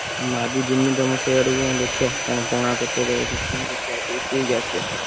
ମୁଁ ଆଜି ଯିବି ତମ ସିଆଡକୁ ଦେଖିଆ କଣ ପଣା କରୁଛ ଦଉଛ ପିଇକି ଆସିଆ।